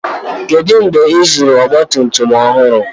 kedu mgbe ịzụrụ ọgbatumtum ọhụrụ